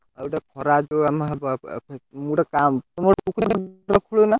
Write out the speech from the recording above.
ଆଉଏଟା ଖରା ଯୋଉ ଆମର ହବ,